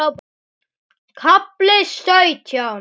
KAFLI SAUTJÁN